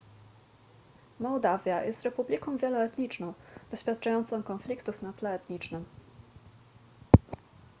mołdawia jest republiką wieloetniczną doświadczającą konfliktów na tle etnicznym